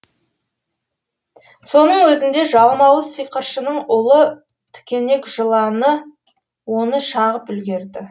соның өзінде жалмауыз сиқыршының улы тікенек жыланы оны шағып үлгерді